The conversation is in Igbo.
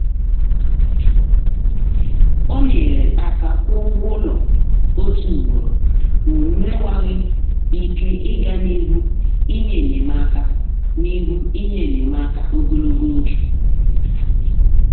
ọ nyere aka kwụọ ụgwọ ụlọ otu ugboro ma o mewaghị ike ịga n’ihu inye enyemaka n’ihu inye enyemaka ogologo oge.